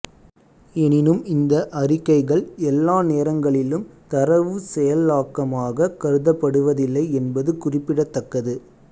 எனினும் இந்த அறிக்கைகள் எல்லா நேரங்களிலும் தரவுச் செயலாக்கமாகக் கருதப்படுவதில்லை என்பது குறிப்பிடத்தக்கது